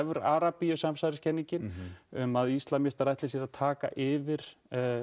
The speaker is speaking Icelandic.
Arabíu samsæriskenningin um að íslamsistar ætli sér að taka yfir